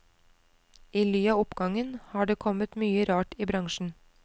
I ly av oppgangen har det kommet mye rart i bransjen.